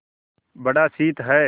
बड़ा शीत है